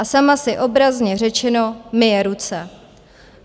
A sama si obrazně řečeno myje ruce.